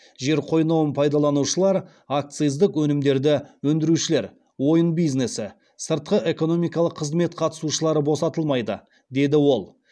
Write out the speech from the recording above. жер қойнауын пайдаланушылар акциздік өнімдерді өндірушілер ойын бизнесі сыртқы экономикалық қызмет қатысушылары босатылмайды деді ол